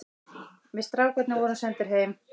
Við strákarnir vorum sendir heim.